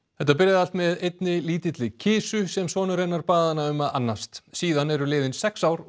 þetta byrjaði allt með einni lítilli kisu sem sonur hennar bað hana um að annast síðan eru liðin sex ár og